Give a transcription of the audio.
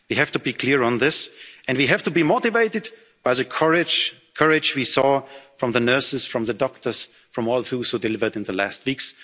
your words in mind. We have to be clear on this and we have to be motivated by the courage we saw from the nurses, from the doctors, and from all those who delivered